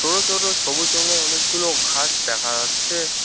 বড়ো ছোট সবুজ রঙের অনেকগুলো ঘাস দেখা আচ্ছে ।